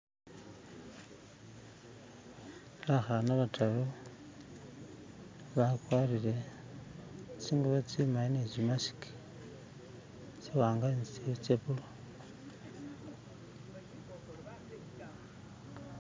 B'khana ba'taru ba'kwarire tsi'ngubo tsi'mali ne tsi'mask tsi'wanga ne tsi'ndi tse'bulu